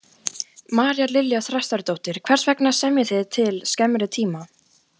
María Lilja Þrastardóttir: Hvers vegna semjið þið til skemmri tíma?